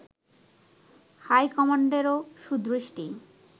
হাইকমান্ডেরও সুদৃষ্টি